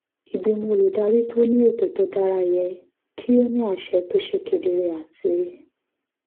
ìgbìmọ̀ olùdarí tó ní ètò tó dára yẹ kí ó ní àṣẹ tó ṣe kedere àti